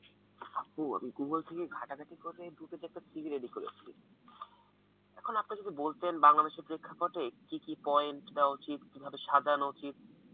হম আমি Google থেকে ঘটা ঘাটি করে দুটো চারটে CV রেডি করেছি, এখন আপনি যদি বলতেন কি কি point দেওয়া উচিত কিভাবে সাজানো উচিত